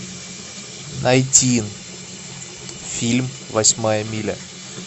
найти фильм восьмая миля